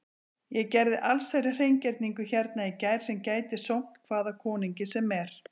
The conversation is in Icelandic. Ég gerði allsherjar hreingerningu hérna í gær sem gæti sómt hvaða konungi sem er.